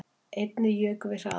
Einnig jukum við hraðann